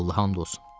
Allaha and olsun.